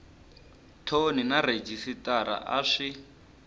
thoni na rhejisitara a swi